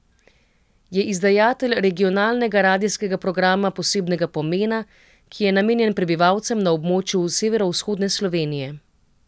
Je izdajatelj regionalnega radijskega programa posebnega pomena, ki je namenjen prebivalcem na območju severovzhodne Slovenije.